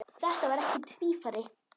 Þetta var ekki tvífari